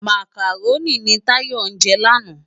Mákáróni ni Tayo jè làná